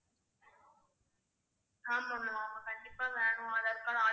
ஆமா ma'am அவங்க கண்டிப்பா வேணும் aadhar card